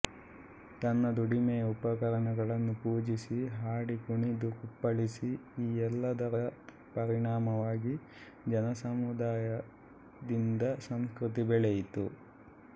ತನ್ನ ದುಡಿಮೆಯ ಉಪಕರಣಗಳನ್ನು ಪೂಜಿಸಿ ಹಾಡಿಕುಣಿದು ಕುಪ್ಪಳಿಸಿ ಈ ಎಲ್ಲದರ ಪರಿಣಾಮವಾಗಿ ಜನಸಮುದಾಯದಿಂದ ಸಂಸ್ಕೃತಿ ಬೆಳೆಯಿತು